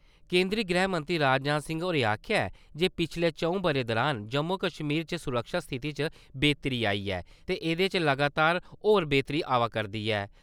केंद्री गृहमंत्री राजनाथ सिंह होरें आक्खेआ ऐ जे पिच्छले चं`ऊ ब`रे दौरान जम्मू-कश्मीर च सुरक्षा स्थिति च बेह्तरी आई ऐ ते ऐह्दे च लगातार होर बेह्तरी आवा करदी ऐ।